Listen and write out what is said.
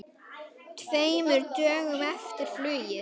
Tveimur dögum eftir flugið.